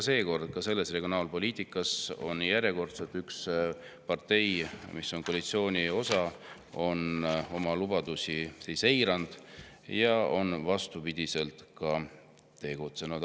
" Nii et ka regionaalpoliitika puhul on järjekordselt üks partei, mis kuulub koalitsiooni, oma lubadusi eiranud ja on vastupidiselt neile ka tegutsenud.